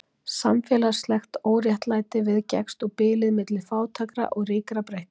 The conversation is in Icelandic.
Samfélagslegt óréttlæti viðgekkst og bilið milli fátækra og ríkra breikkaði.